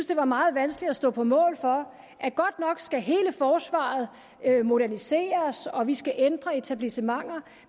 det var meget vanskeligt at stå på mål for at godt nok skal hele forsvaret moderniseres og vi skal ændre på etablissementer